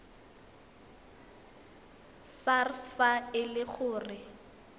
sars fa e le gore